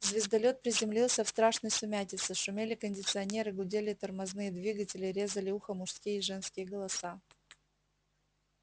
звездолёт приземлился в страшной сумятице шумели кондиционеры гудели тормозные двигатели резали ухо мужские и женские голоса